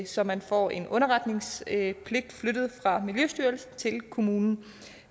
så man får en underretningspligt flyttet fra miljøstyrelsen til kommunen